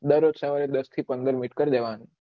દરરોજ સવારે દસ થી પંદર મિનટ કરી લેવાની